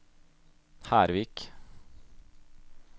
Hervik